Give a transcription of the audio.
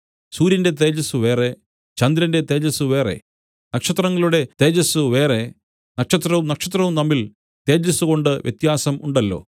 സൂര്യന്റെ തേജസ്സ് വേറെ ചന്ദ്രന്റെ തേജസ്സ് വേറെ നക്ഷത്രങ്ങളുടെ തേജസ്സ് വേറെ നക്ഷത്രവും നക്ഷത്രവും തമ്മിൽ തേജസ്സുകൊണ്ട് വ്യത്യാസം ഉണ്ടല്ലോ